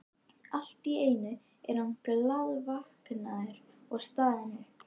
En allt í einu er hann glaðvaknaður og staðinn upp.